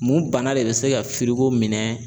Mun bana de bɛ se ka minɛ.